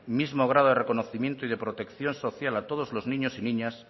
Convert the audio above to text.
mismo grado de reconocimiento y de protección social a todos los niños y niñas